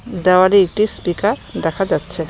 দেওয়ালে একটি স্পিকার দেখা যাচ্ছে।